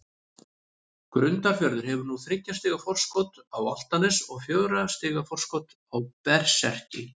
Grundarfjörður hefur núna þriggja stiga forskot á Álftanes og fjögurra stiga forskot á Berserki.